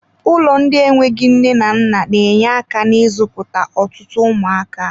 Ụlọ ndị enweghị nne na nna na-enye aka n'izụputa ọtụtụ ụmụaka.